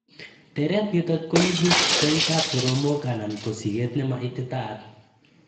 tereet nitok koibu koik ap soromok anan ko sigeet nema ititaat.